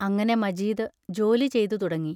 അങ്ങനെ മജീദ് ജോലി ചെയ്തുതുടങ്ങി.